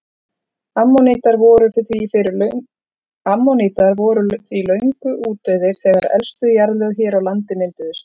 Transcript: Ammonítar voru því löngu útdauðir þegar elstu jarðlög hér á landi mynduðust.